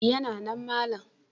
Yana nan malam.